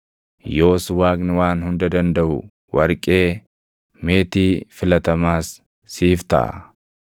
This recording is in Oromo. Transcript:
yoos Waaqni Waan Hunda Dandaʼu warqee, meetii filatamaas siif taʼa.